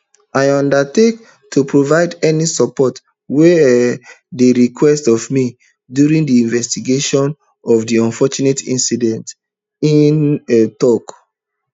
i undertake to provide any support wey um dey required of me during di investigations of di unfortunate incident e um tok